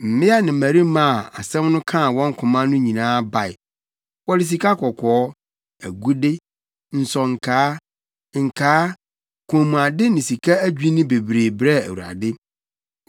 Mmea ne mmarima a asɛm no kaa wɔn koma no nyinaa bae. Wɔde sikakɔkɔɔ, agude, nsonkaa, nkaa, kɔnmuade ne sika adwinne bebree brɛɛ Awurade.